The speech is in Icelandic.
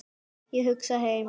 Ég hugsa heim.